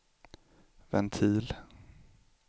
ventil